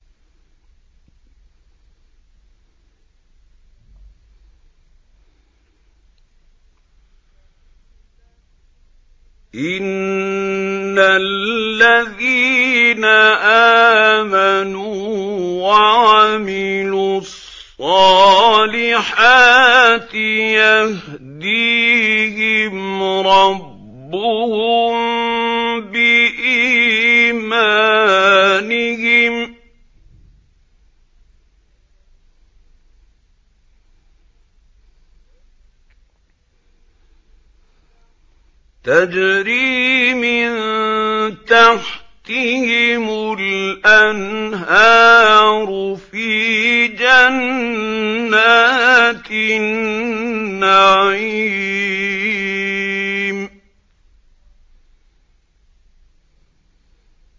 إِنَّ الَّذِينَ آمَنُوا وَعَمِلُوا الصَّالِحَاتِ يَهْدِيهِمْ رَبُّهُم بِإِيمَانِهِمْ ۖ تَجْرِي مِن تَحْتِهِمُ الْأَنْهَارُ فِي جَنَّاتِ النَّعِيمِ